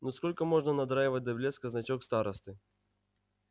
ну сколько можно надраивать до блеска значок старосты